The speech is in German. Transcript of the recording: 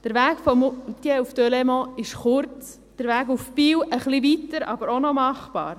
Der Weg von Moutier nach Delémont ist kurz, der Weg nach Biel etwas weiter, aber auch noch machbar.